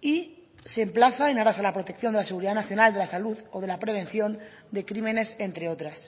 y se emplaza en aras a la protección de la seguridad nacional de la salud o de la prevención de crímenes entre otras